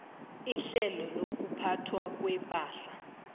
ihlelo lokuphathwa kwepahla